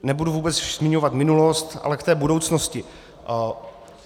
Nebudu vůbec zmiňovat minulost, ale k té budoucnosti.